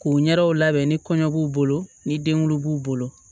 K'u ɲɛdaw labɛn ni kɔɲɔ b'u bolo ni denwolo b'u bolo